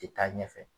Tɛ taa ɲɛfɛ